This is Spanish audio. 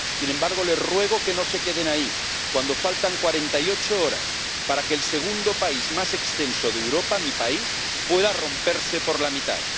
Sin embargo, les ruego que no se queden ahí, cuando faltan 48 horas para que el segundo país más extenso de Europa, mi país, pueda romperse por la mitad.